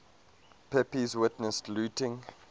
pepys witnessed looting